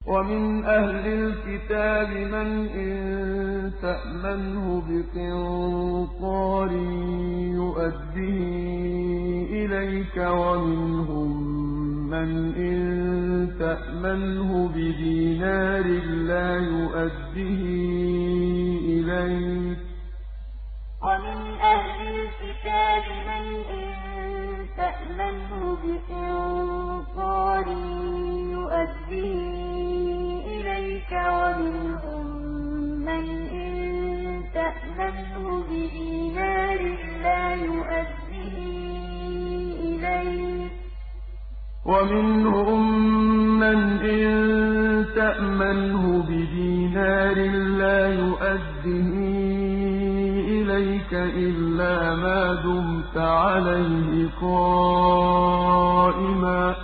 ۞ وَمِنْ أَهْلِ الْكِتَابِ مَنْ إِن تَأْمَنْهُ بِقِنطَارٍ يُؤَدِّهِ إِلَيْكَ وَمِنْهُم مَّنْ إِن تَأْمَنْهُ بِدِينَارٍ لَّا يُؤَدِّهِ إِلَيْكَ إِلَّا مَا دُمْتَ عَلَيْهِ قَائِمًا ۗ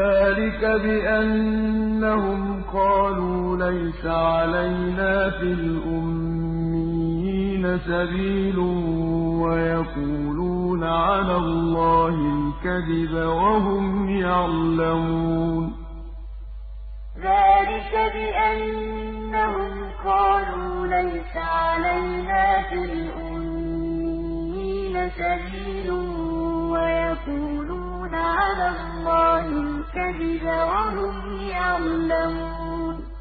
ذَٰلِكَ بِأَنَّهُمْ قَالُوا لَيْسَ عَلَيْنَا فِي الْأُمِّيِّينَ سَبِيلٌ وَيَقُولُونَ عَلَى اللَّهِ الْكَذِبَ وَهُمْ يَعْلَمُونَ ۞ وَمِنْ أَهْلِ الْكِتَابِ مَنْ إِن تَأْمَنْهُ بِقِنطَارٍ يُؤَدِّهِ إِلَيْكَ وَمِنْهُم مَّنْ إِن تَأْمَنْهُ بِدِينَارٍ لَّا يُؤَدِّهِ إِلَيْكَ إِلَّا مَا دُمْتَ عَلَيْهِ قَائِمًا ۗ ذَٰلِكَ بِأَنَّهُمْ قَالُوا لَيْسَ عَلَيْنَا فِي الْأُمِّيِّينَ سَبِيلٌ وَيَقُولُونَ عَلَى اللَّهِ الْكَذِبَ وَهُمْ يَعْلَمُونَ